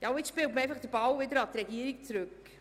Nun spielt man den Ball an die Regierung zurück.